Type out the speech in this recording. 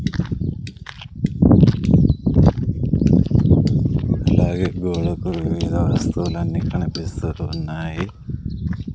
అలాగే గోడకు వివిధ వస్తువులన్నీ కనిపిస్తూ ఉన్నాయి.